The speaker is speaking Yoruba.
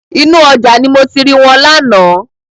Inú ọjà ni mo ti ri wọn lánàá.